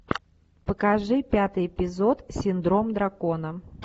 покажи пятый эпизод синдром дракона